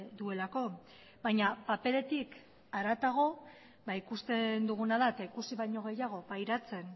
duelako baina paperetik haratago ikusten duguna da eta ikusi baino gehiago pairatzen